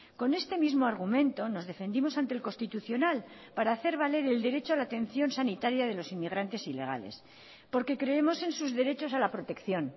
con este mismo argumento nos defendimos ante el constitucional para hacer valer el derecho a la atención sanitaria de los inmigrantes ilegales porque creemos en sus derechos a la protección